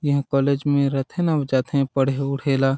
यहाँ कॉलेज में रथे न अऊ जाथे पढ़े उड़हे ल--